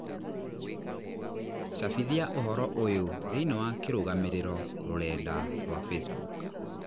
cabithia ũhoro ũyũ thĩinĩ wa kĩrũgamĩrĩro rũrenda rũarwa facebook